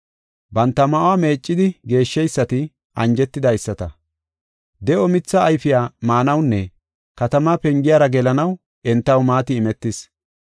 “Banta ma7uwa meeccidi geeshsheysati anjetidaysata. De7o mithee ayfiya maanawunne katamaa pengiyara gelanaw entaw maati imetis.